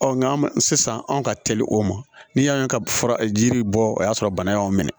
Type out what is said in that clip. nka sisan anw ka teli o ma ni yan ka fura jiri bɔ o y'a sɔrɔ bana y'an minɛ